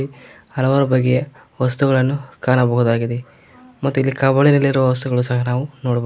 ಹಲವಾರು ಬಗೆಯ ವಸ್ತುಗಳನ್ನು ಕಾಣಬಹುದಾಗಿದೆ ಮತ್ತಿಲ್ಲಿ ಕಬೋರ್ಡ್ ನಲ್ಲಿ ಇರುವ ವಸ್ತುಗಳು ಸಹ ನಾವು ನೋಡ--